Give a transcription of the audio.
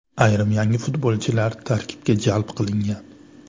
Ayrim yangi futbolchilar tarkibga jalb qilingan.